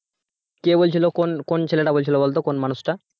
কে বলছিল কোন কোন ছেলেটা বলছিল বলতো কোন মানুষটা?